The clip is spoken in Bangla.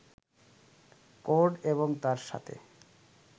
কোড এবং তার সাথে